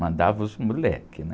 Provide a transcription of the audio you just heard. Mandava os moleques, né?